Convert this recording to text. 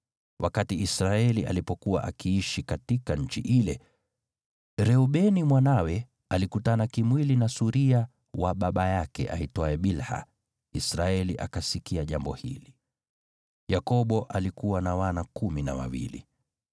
Wakati Israeli alipokuwa akiishi katika nchi ile, Reubeni mwanawe alikutana kimwili na suria wa baba yake aitwaye Bilha, naye Israeli akasikia jambo hili. Yakobo alikuwa na wana kumi na wawili: